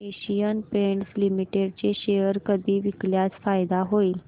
Asian Paints Limited चे share कधी विकल्यास फायदा होईल